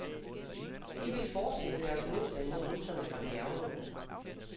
De vil fortsætte deres modstand mod russerne fra bjergene.